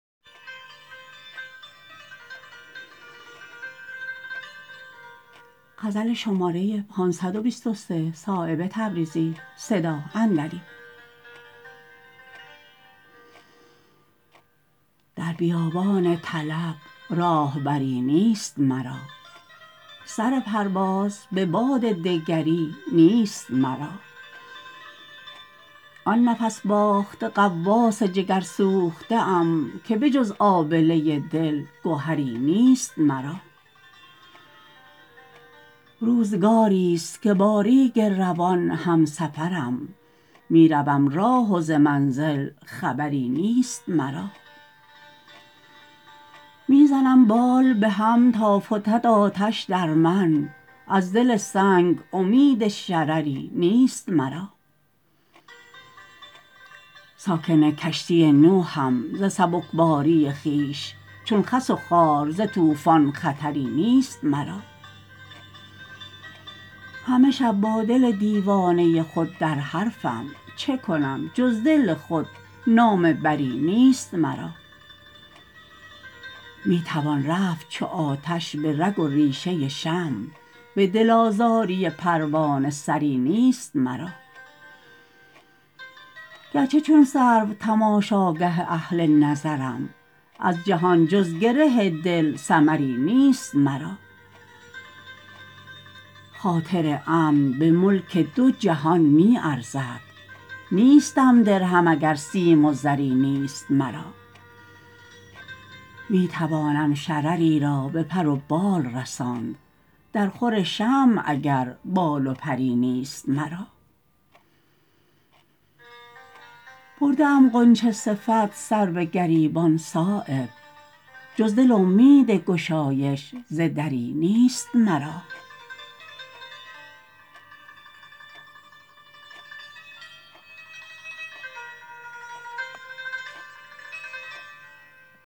در بیابان طلب راهبری نیست مرا سر پرواز به باد دگری نیست مرا آن نفس باخته غواص جگرسوخته ام که به جز آبله دل گهری نیست مرا روزگاری است که با ریگ روان همسفرم می روم راه و ز منزل خبری نیست مرا می زنم بال به هم تا فتد آتش در من از دل سنگ امید شرری نیست مرا ساکن کشتی نوحم ز سبکباری خویش چون خس و خار ز طوفان خطری نیست مرا همه شب با دل دیوانه خود در حرفم چه کنم جز دل خود نامه بری نیست مرا می توان رفت چو آتش به رگ و ریشه شمع به دل آزاری پروانه سری نیست مرا گرچه چون سرو تماشاگه اهل نظرم از جهان جز گره دل ثمری نیست مرا خاطر امن به ملک دو جهان می ارزد نیستم در هم اگر سیم و زری نیست مرا می توانم شرری را به پر و بال رساند در خور شمع اگر بال و پری نیست مرا برده ام غنچه صفت سر به گریبان صایب جز دل امید گشایش ز دری نیست مرا